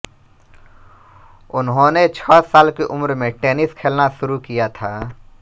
उन्होंने छह साल की उम्र से टेनिस खेलना शुरू किया था